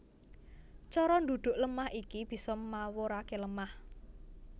Cara ndhudhuk lemah iki bisa mawuraké lemah